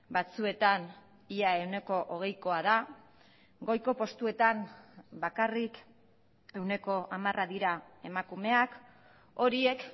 batzuetan ia ehuneko hogeikoa da goiko postuetan bakarrik ehuneko hamara dira emakumeak horiek